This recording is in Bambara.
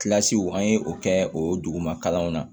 an ye o kɛ o duguma kalanw na